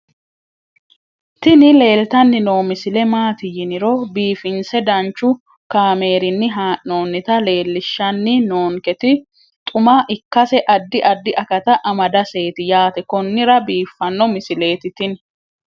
tini leeltanni noo misile maaati yiniro biifinse danchu kaamerinni haa'noonnita leellishshanni nonketi xuma ikkase addi addi akata amadaseeti yaate konnira biiffanno misileeti tini